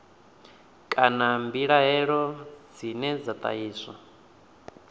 kana mbilaelo dzine dza ṱahiswa